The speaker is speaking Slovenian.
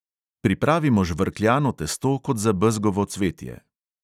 Pripravimo žvrkljano testo kot za bezgovo cvetje.